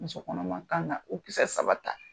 Musokɔnɔma kan ka o kisɛ saba ta.